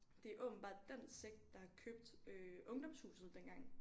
Det er åbenbart den sekt der har købt øh Ungdomshuset dengang